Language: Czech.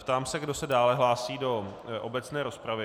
Ptám se, kdo se dále hlásí do obecné rozpravy.